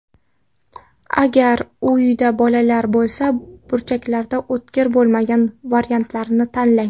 Agar uyda bolalar bo‘lsa, burchaklari o‘tkir bo‘lmagan variantlarini tanlang.